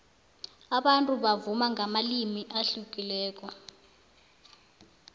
abantu bavuma ngamalimi ahlukileko